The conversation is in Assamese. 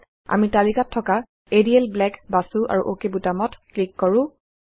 আহক আমি তালিকাত থকা এৰিয়েল ব্লেক বাছো আৰু অক বুটামত ক্লিক কৰো